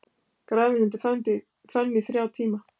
Grafinn undir fönn í þrjá tíma